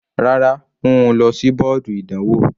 Rárá, mú u lọ sí bọ́ọ̀dù ìdánwò.